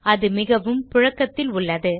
அது மிகவும் புழக்கத்தில் உள்ளது